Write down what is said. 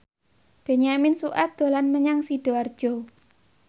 Benyamin Sueb dolan menyang Sidoarjo